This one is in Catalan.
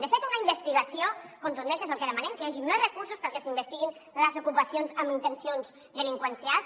de fet una investigació contundent que és el que demanem que hi hagi més recursos perquè s’investiguin les ocupacions amb intencions delinqüencials